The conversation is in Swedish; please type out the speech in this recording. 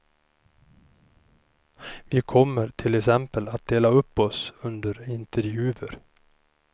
Vi kommer till exempel att dela upp oss under intervjuer.